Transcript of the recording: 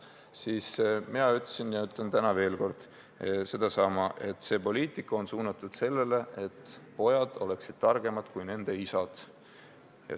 Siis ma ütlesin ja ütlen täna veel kord sedasama: see poliitika on suunatud sellele, et pojad oleksid targemad kui nende isad.